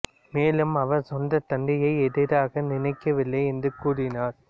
மேலும் அவர் சொந்தத் தந்தையை எதிரியாக நினைக்கவில்லை என்றும் கூறினார்